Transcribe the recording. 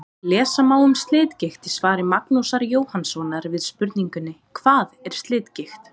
Lesa má um slitgigt í svari Magnúsar Jóhannssonar við spurningunni: Hvað er slitgigt?